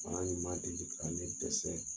Faŋa ni ma deli ka ne dɛsɛ!